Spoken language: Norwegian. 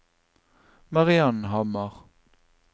Mariann Hammer